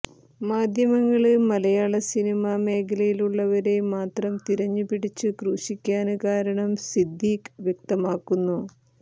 മാധ്യമങ്ങള് മലയാള സിനിമാ മേഖലയിലുള്ളവരെ മാത്രം തിരഞ്ഞു പിടിച്ചു ക്രൂശിക്കാന് കാരണം സിദ്ദീഖ് വ്യക്തമാക്കുന്നു